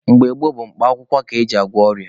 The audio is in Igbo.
Mgbe gboo bụ mkpa akwụkwọ ka eji agwọ ọrịa.